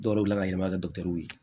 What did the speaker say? Dɔw yɛrɛ wulila ka yɛlɛma kɛ dɔtɛriw ye